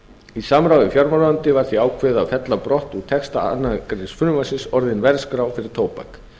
í samráði við fjármálaráðuneytið var því ákveðið að fella brott úr texta annars greinar frumvarpsins orðin verðskrá fyrir tóbak